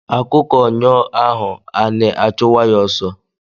Akụkọ nyọ ahọ anị achụwa ya ọsọ